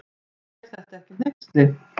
Er þetta ekki hneyksli.